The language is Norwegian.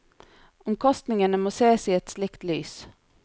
Omkostningene må sees i et slikt lys.